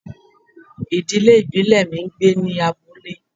Ìdílé ìbílẹ̀ mi ń gbé ní abúlé